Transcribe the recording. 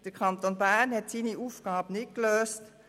Der Kanton Bern hat seine Aufgabe nicht gelöst.